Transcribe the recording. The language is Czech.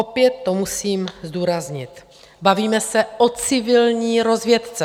Opět to musím zdůraznit, bavíme se o civilní rozvědce.